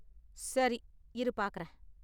சரி, இரு பார்க்கறேன்.